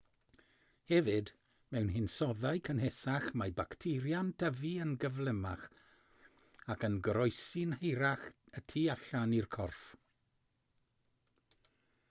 hefyd mewn hinsoddau cynhesach mae bacteria'n tyfu yn gyflymach ac yn goroesi'n hirach y tu allan i'r corff